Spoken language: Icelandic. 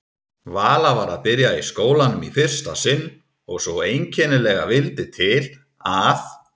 Vala var að byrja í skólanum í fyrsta sinn og svo einkennilega vildi til að